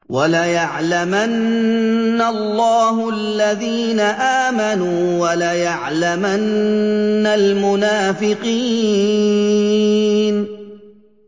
وَلَيَعْلَمَنَّ اللَّهُ الَّذِينَ آمَنُوا وَلَيَعْلَمَنَّ الْمُنَافِقِينَ